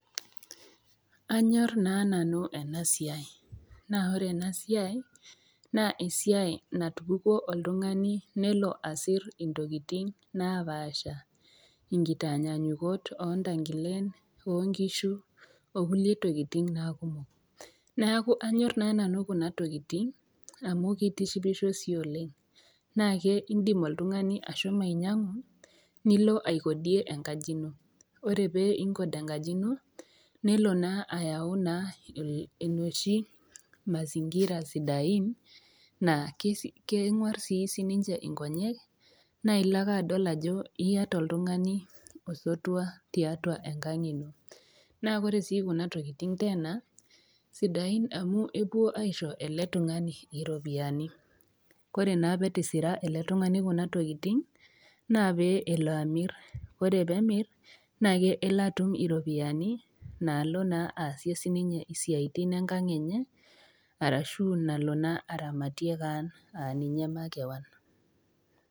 Anyor naa nanu ena siai, naa ore ena siai naa esiai natupukuo oltung'ani nelo asir intokitin napaasha, inkitanyanyukot oo ntangilen oo nkishu o kulie tokitin naa kumok. Neaku anyor naa nanu kuna tokitin amu keitishipisho sii oleng', naake indim oltung'ani ashomo ainyang'u, nilo aikodie enkaji ino, ore pee inkod enkaji ino, nelo naa ayau naa enoshi mazingira sidain naa kengwaar sii sininye inkonyek naa ilo ake adol ajo iata oltung'ani osotua tiatua enkang' ino. Naa ore sii kuna tokitin teena, sidain amu epuo aisho ele tung'ani iropiani, ore naa pee etisira ele tung'ani kuna tokitin naa pee elo amir, naa ore pee emir naa elo atum iropiani naalo naa aasie sii ninye isiaitin enkang' enye, arashu nalo naa aramatie kaan aa ninye makewon.